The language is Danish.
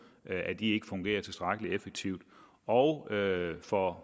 ikke fungerer tilstrækkelig effektivt og for